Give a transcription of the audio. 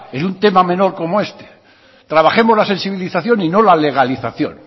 en un tema menor como este trabajemos la sensibilización y no la legalización